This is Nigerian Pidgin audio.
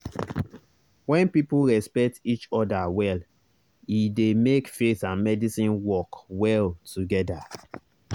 when people respect each other well e dey make faith and medicine work well together.